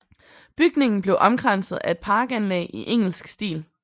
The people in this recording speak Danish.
Bygningen blev omkranset af et parkanlæg i engelsk stil